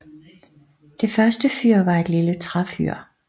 Det første fyr var et lille træfyr